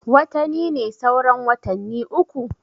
Watani ne sauran watanni uku